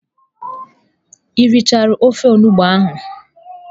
Ị richaala ofe onugbu ahụ?